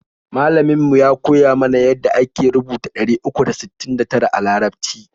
Malamin mu ya koya mana ya da ake rubuta ɗari uku da sittin da tara a larabci